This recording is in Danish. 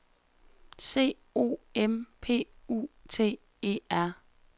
C O M P U T E R